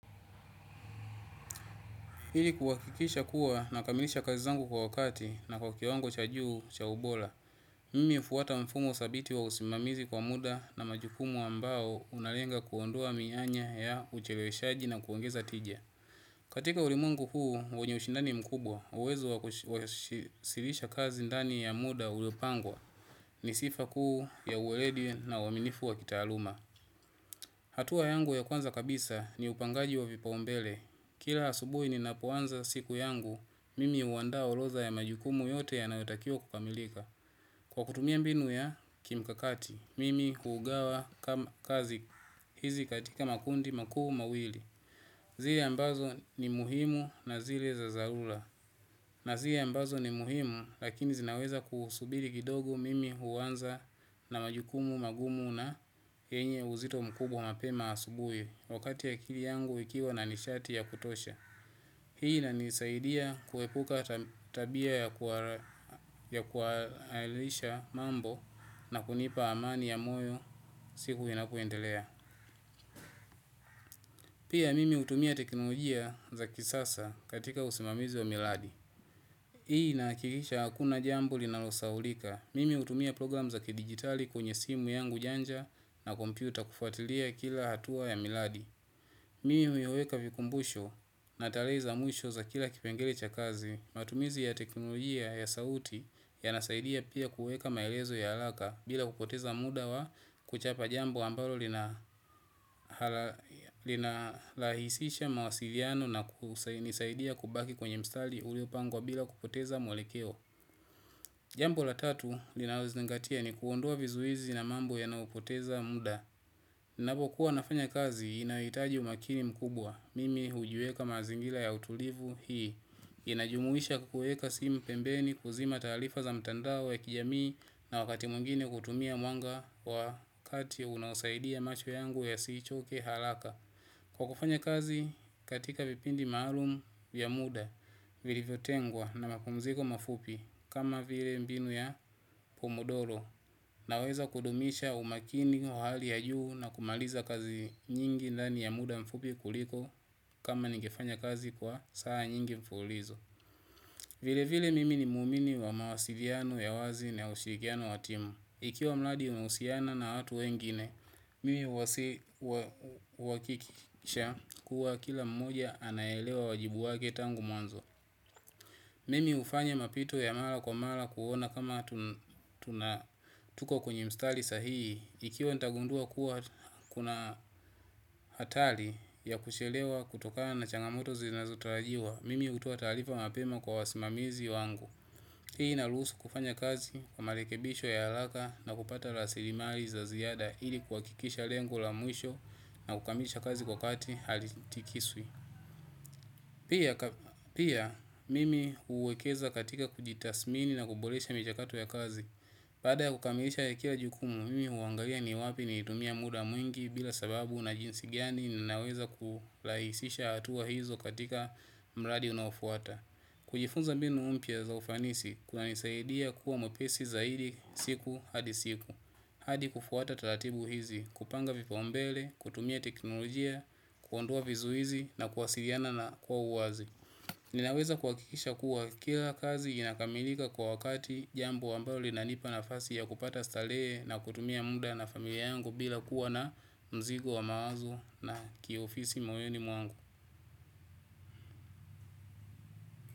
Ili kuhakikisha kuwa nakamilisha kazi zangu kwa wakati na kwa kiwango cha juu cha ubora. Mimi hufuata mfumo dhabiti wa usimamizi kwa muda na majukumu ambao unalenga kuondoa mianya ya ucheleweshaji na kuongeza tija. Katika ulimwengu huu wenye mshindani mkubwa uwezo wa kuwasilisha kazi ndani ya muda uliopangwa ni sifa kuu ya uweledi na uaminifu wa kitaaluma. Hatua yangu ya kwanza ni upangaji wa vipaombele. Kila asubuhi ninapoanza siku yangu, mimi huanda orodha ya majukumu yote yanayotakiwa kukamilika. Kwa kutumia mbinu ya kimkakati, mimi huugawa kazi hizi katika makundi makuu mawili. Zile ambazo ni muhimu na zile za dharura. Na zile ambazo ni muhimu, lakini zinaweza kusubiei kidogo mimi huanza na majukumu magumu na yenye uzito mkubwa mapema asubuhi. Wakati akili yangu ikiwa na nishati ya kutosha. Hii inanisaidia kuepuka tabia ya kuhalalisha mambo na kunipa amani ya moyo siku inapoendelea. Pia mimi hutumia teknologia za kisasa katika usimamizi wa miradi. Hii inahakikisha hakuna jambo linalosaulika, mimi hutumia program za kidigitali kwenye simu yangu janja na kompyuta kufuatilia kila hatua ya miradi. Mimi huiweka vikumbusho na tarehe za mwisho za kila kipengele cha kazi, matumizi ya teknolojia ya sauti yanasaidia pia kuweka maelezo ya haraka bila kupoteza muda wa kuchapa jambo ambalo linarahisisha mawasiliano na kunisaidia kubaki kwenye mstari uliopangwa bila kupoteza mwelekeo. Jambo la tatu linalozinangatia ni kuondoa vizuizi na mambo yanayapoteza muda. Ninapokuwa nafanya kazi inahitaji umakini mkubwa. Mimi hujiweka mazingira ya utulivu hii inajumuisha kuweka simu pembeni kuzima taarifa za mtandao wa kijamii na wakati mwingine kutumia mwanga wa kati ambayo unaosaidia macho yangu yasichoke haraka. Kwa kufanya kazi katika vipindi maalum ya muda vilivyotengwa na mapumziko mafupi kama vile mbinu ya pomodoro naweza kudumisha umakini wa hali ya juu na kumaliza kazi nyingi ndani ya muda mafupi kuliko kama ningefanya kazi kwa saa nyingi mfululizo. Vile vile mimi ni muumini wa mawasiliano ya wazi na ushirikiano wa timu. Ikiwa mradi unahusiana na watu wengine, mimi uhakikisha kuwa kila mmoja anaelewa wajibu wake tangu mwanzo. Mimi hufanya mapito ya mara kwa mara kuona kama tuna tuko kwenye mstari sahihi, ikiwa nitagundua kuna hatari ya kuchelewa kutokana na changamoto zinazotarajiwa, mimi hutoa taarifa mapema kwa wasimamizi wangu. Hii inaruhusu kufanya kazi kwa marekebisho ya haraka na kupata rasili mali za ziada ili kuhakikisha lengo la mwisho na kukamilisha kazi kwa kati halitikiswi. Pia mimi huwekeza katika kujitathmini na kuboresha michakato ya kazi baada ya kukamilisha ya kila jukumu, mimi huangalia ni wapi nilitumia muda mwingi bila sababu na jinsi gani ninaweza kurahisisha hatua hizo katika mradi unaofuata. Kujifunza mbinu mpya za ufanisi kunanisaidia kuwa mpesi zaidi siku hadi siku. Hadi kufuata taratibu hizi, kupanga vipaombele, kutumia teknolojia, kuondoa vizuizi na kuwasiliana na kwa uwazi. Ninaweza kuhakikisha kuwa kila kazi inakamilika kwa wakati jambo ambayo linanipa nafasi ya kupata starehe na kutumia muda na familia yangu bila kuwa na mzigo wa mawazo na kiofisi moyoni mwangu.